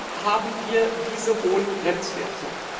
Warum haben wir diese hohen Grenzwerte?